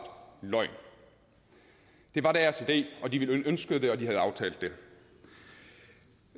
løgn det var deres idé de ønskede det og de havde aftalt det